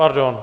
Pardon.